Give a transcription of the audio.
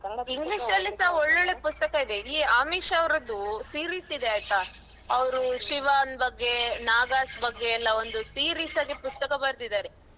English ಲ್ಲಿಸಾ ಒಳ್ಳೊಳ್ಳೇ ಪುಸ್ತಕ ಇದೆ ಈ ಆಮಿಷ ಅವರದು series ಇದೆ ಆಯ್ತಾ ಅವರು ಶಿವನ್ ಬಗ್ಗೆ ನಾಗಾಸ್ ಬಗ್ಗೆ ಎಲ್ಲ ಒಂದು series ಆಗಿ ಪುಸ್ತಕ ಬರ್ದಿದ್ದಾರೆ.